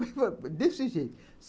Desse jeito.